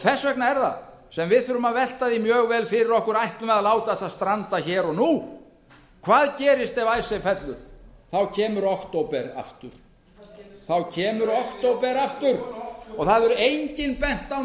þess vegna er það sem við þurfum að velta því mjög vel fyrir okkur ætlum við að láta þetta stranda hér og nú hvað gerist ef fellur þá kemur október aftur á kemur október aftur og það hefur enginn bent á